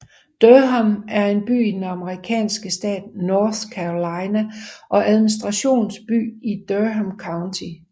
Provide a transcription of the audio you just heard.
Durham er en by i den amerikanske stat North Carolina og administrationsby i Durham County